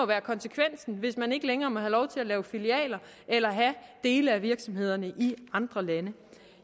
være konsekvensen hvis man ikke længere må have lov til at lave filialer eller have dele af virksomhederne i andre lande